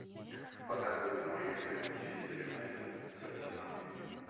показывай прямой эфир манчестер юнайтед с арсеналом